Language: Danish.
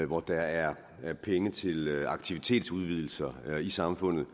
hvor der er er penge til aktivitetsudvidelser i samfundet